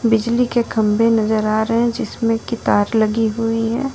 बिजली के खंबे नजर आ रहे हैं जिसमें तार लगी हुई है।